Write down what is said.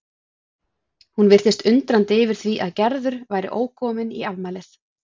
Hún virtist undrandi yfir því að Gerður væri ókomin í afmælið.